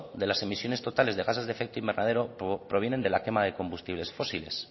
de las emisiones totales de gases de efecto invernadero provienen de la quema de combustibles fósiles